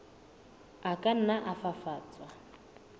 a ka nna a fafatswa